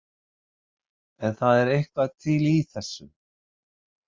En það er eitthvað til í þessu.